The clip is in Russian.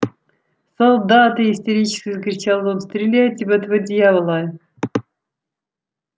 солдаты истерически закричал он стреляйте в этого дьявола